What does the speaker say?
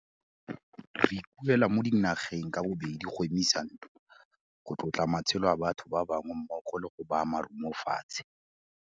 Re ikuela mo dinageng ka bobedi go emisa ntwa, go tlotla matshelo a batho ba bangwe mmogo le go baya marumo fatshe.